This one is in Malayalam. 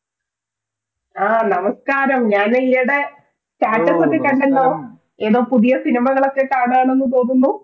ആ നമസ്ക്കാരം ഞാൻ ഈയിടെ ഉം ഉം Status ഒക്കെ കണ്ടല്ലോ ഏതോ പുതിയ cinema കളൊക്കെ കാണുവാനെന്നു തോന്നുന്നു